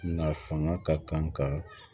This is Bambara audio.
Nka fanga ka kan ka